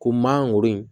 Ko mangoro in